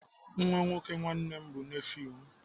Nwa nwoke nwanne m bụ nefiu m.